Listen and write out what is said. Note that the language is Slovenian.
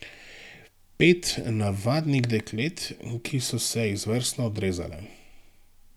Pet navadnih deklet, ki so se izvrstno odrezale.